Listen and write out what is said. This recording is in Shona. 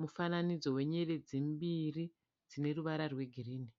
mufananidzo wenyeredzi mbiri dzine ruvara rwegirini.